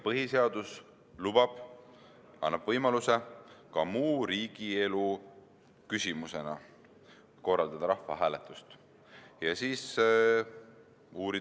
Samuti annab põhiseadus võimaluse korraldada rahvahääletust muu riigielu küsimuse puhul.